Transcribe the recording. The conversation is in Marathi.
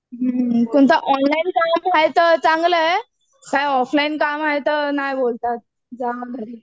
हुं कोणतं ऑनलाईन काम व्हायचं चांगलं आहे. काय ऑफलाईन काम हाय तर नाही बोलतात जावा घरी.